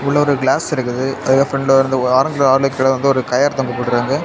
உள்ள ஒரு கிளாஸ் இருக்குது அதுக்க ப்றண்டு ஒரு கயறு தொங்க போட்ருக்காங்க.